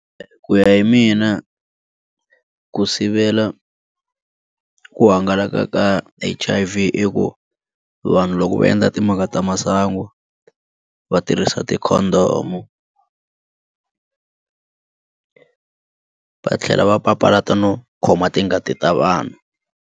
Ku ya hi mina ku sivela ku hangalaka ka H_I_V i ku vanhu loko va endla timhaka ta masangu va tirhisa ti condom va tlhela va papalata no khoma tingati ta vanhu.